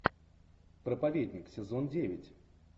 проповедник сезон девять